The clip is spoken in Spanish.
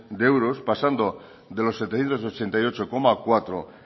de euros pasando de los setecientos ochenta y ocho coma cuatro